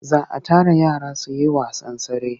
Za a tara yara su yi wasan tsere.